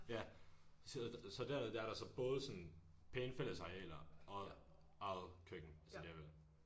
Ja så så dernede der er der så både sådan pæne fællesarealer og eget køkken så det er vel